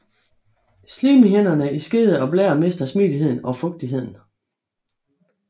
Slimhinderne i skede og blære mister smidigheden og fugtigheden